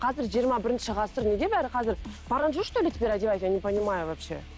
қазір жиырма бірінші ғасыр неге бәрі қазір парандже что ли теперь одевать я не понимаю вообще